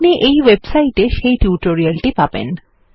আপনি এই ওয়েবসাইটে সেই টিউটোরিয়াল টি পাবেন